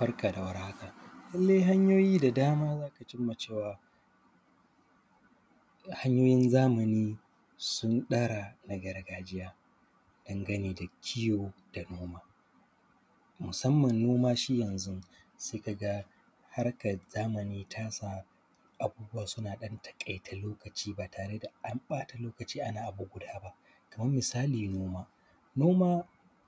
Barka da warhaka, lallai hanyoyi da dama za ka cimma cewa, hanyoyin zamani sun ɗara na gargajiya dangane da kiwo da noma. Musamman noma shi yanzu, se ka ga harkaz zamani ta sa abubuwa suna ɗan taƙaita lokaci ba tare da an ƃata lokaci ana abu guda ba. Kamam misali noma, noma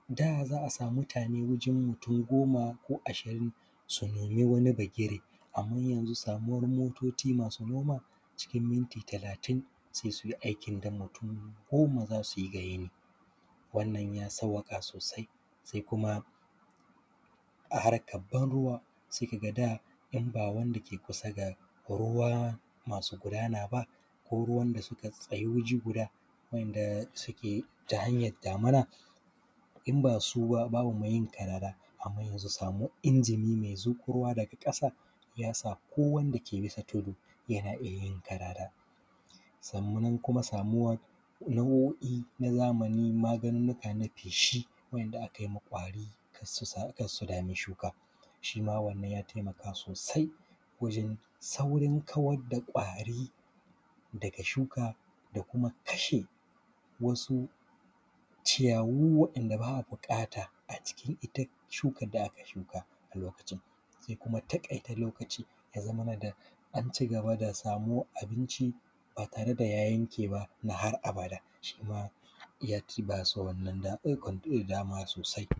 da za a sami mutane wajan mutun goma ko ashirin, su nomi wani bagire, amman yanzu samuwar mototi masu noma, cikin minti talatin se su yi aikin da mutun goma za su yi ga yini, wannan ya sauwaƙa sosai. Se kuma a harkab banruwa, se ka ga da, in ba wanda ke kusa ga ruwa masu gudana ba, ko ruwan da suka tsayu wuji guda wa’yanda suke ta hanyad damina, in ba su ba, babu me yin karara, amman yanzu samuwar injimi me zuƙo ruwa daga ƙasa, ya sa ko wanda ke bisa tudu, yana iya yin karara. Sammunan kuma samuwar, nau’o’i na zamani, maganunnuka na feshi wa’yanda akai ma ƙwari, kas su sa; kas su dami shuka, shi ma wannan ya temaka sosai wajen saurin kawad da ƙwari daga shuka da kuma kashe wasu ciyawu waɗanda ba a buƙata a cikin ita shukad da aka shuka Ze kuma taƙaita lokaci, ya zamana da an ci gaba da samuwar abinci ba tare da ya yanke ba ma har abada. Shi ma ya tibasa wannan da ɗaukan – dama sosai.